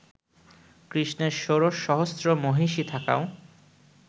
কৃষ্ণের ষোড়শ সহস্র মহিষী থাকাও